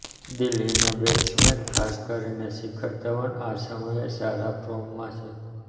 દિલ્હી ના બેટ્સમેન ખાસ કરીને શિખર ધવન આ સમયે સારા ફોર્મમાં છે